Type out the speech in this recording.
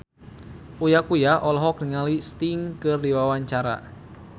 Uya Kuya olohok ningali Sting keur diwawancara